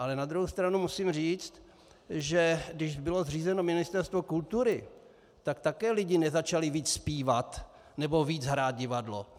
Ale na druhou stranu musím říct, že když bylo zřízeno Ministerstvo kultury, tak také lidi nezačali víc zpívat nebo víc hrát divadlo.